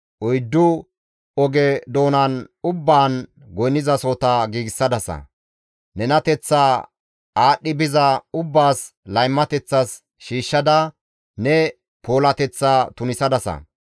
Oyddu oge doonan ubbaan goynnizasohota giigsadasa; nenateththaa aadhdhi biza ubbaas laymateththas shiishshada ne puulateththaa tunisadasa.